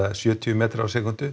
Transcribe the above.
sjötíu metra á sekúndu